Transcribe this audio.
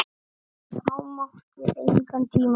Það mátti engan tíma missa.